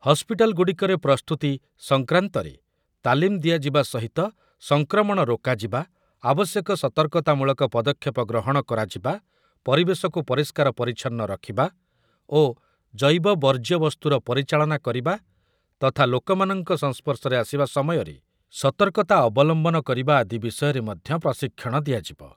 ହସ୍ପିଟାଲ୍‌ଗୁଡ଼ିକରେ ପ୍ରସ୍ତୁତି ସଂକ୍ରାନ୍ତରେ ତାଲିମ୍ ଦିଆଯିବା ସହିତ ସଂକ୍ରମଣ ରୋକାଯିବା, ଆବଶ୍ୟକ ସତର୍କତାମୂଳକ ପଦକ୍ଷେପ ଗ୍ରହଣ କରାଯିବା, ପରିବେଶକୁ ପରିଷ୍କାର ପରିଚ୍ଛନ୍ନ ରଖିବା ଓ ଜୈବ ବର୍ଜ୍ୟ ବସ୍ତୁର ପରିଚାଳନ କରିବା ତଥା ଲୋକମାନଙ୍କ ସଂସ୍ପର୍ଶରେ ଆସିବା ସମୟରେ ସତର୍କତା ଅବଲମ୍ବନ କରିବା ଆଦି ବିଷୟରେ ମଧ୍ୟ ପ୍ରଶିକ୍ଷଣ ଦିଆଯିବ ।